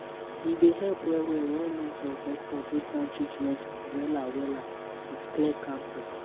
e dey help well-well when nurse or doctor break down treatment wahala wahala with clear calm talk.